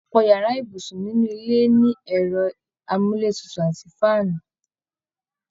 Ọpọ yàrá ibùsùn nínú ilé ni ẹ̀rọ amúletutù àti faanu